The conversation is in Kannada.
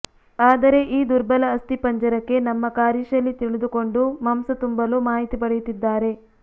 ಆದರೆ ಈ ದುರ್ಬಲ ಅಸ್ಥಿಪಂಜರಕ್ಕೆ ನಮ್ಮ ಕಾರ್ಯಶೈಲಿ ತಿಳಿದುಕೊಂಡು ಮಾಂಸ ತುಂಬಲು ಮಾಹಿತಿ ಪಡೆಯುತ್ತಿದ್ದಾರೆ